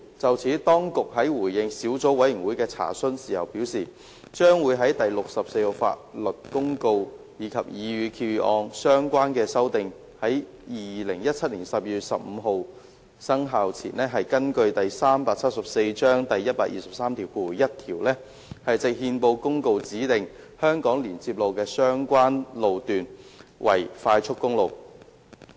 就此，當局在回應小組委員會的查詢時表示，將會在第64號法律公告及擬議決議案的相關修訂於2017年12月15日生效前，根據第374章第1231條，藉憲報公告指定香港連接路的相關路段為快速公路。